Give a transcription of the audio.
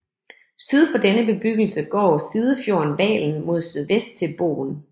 Syd for denne bebyggelse går sidefjorden Valen mod sydvest til Bogen